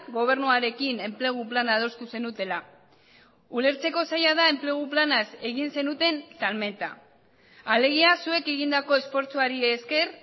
gobernuarekin enplegu plana adostu zenutela ulertzeko zaila da enplegu planaz egin zenuten salmenta alegia zuek egindako esfortzuari esker